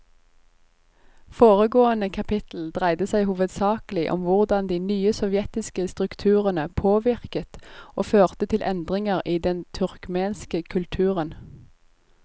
Foregående kapittel dreide seg hovedsakelig om hvordan de nye sovjetiske strukturene påvirket og førte til endringer i den turkmenske kulturen.